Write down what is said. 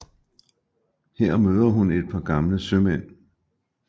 Her møder hun et par gamle sømænd